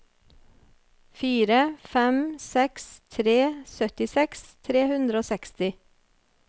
fire fem seks tre syttiseks tre hundre og seksti